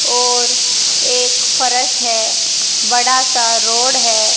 और एक फरस है बड़ा सा रोड है।